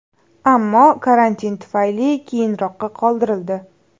Ammo karantin tufayli keyinroqqa qoldirildi.